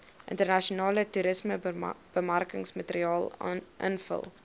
internasionale toerismebemarkingsmateriaal invul